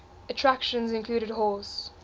attractions included horse